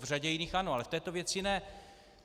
V řadě jiných ano, ale v této věci ne.